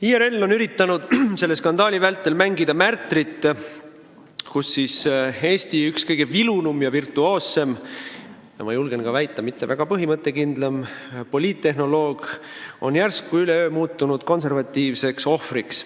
IRL on üritanud selle skandaali vältel mängida märtrit: üks Eesti kõige vilunumaid ja virtuoossemaid, ma julgen ka väita, mitte väga põhimõttekindel poliittehnoloog on järsku üleöö muutunud konservatiivseks ohvriks.